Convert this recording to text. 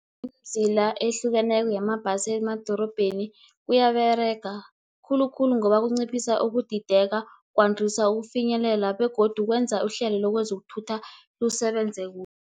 Idzila ehlukeneko yamabhasi emadorobheni kuyaberega, khulukhulu ngoba kunciphisa ukudideka, kwandisa ukufinyelela, begodu kwenza ihlelo lezokuthutha lisebenze kuhle.